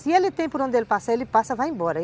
Se ele tem por onde passar, ele passa e vai embora.